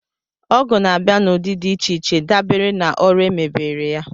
Ọgụ na-abịa n'ụdị dị iche iche dabere na ọrụ e mebére ya